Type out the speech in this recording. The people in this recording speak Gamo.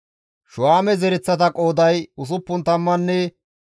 Shuhaame zereththata qooday 64,400 addeta.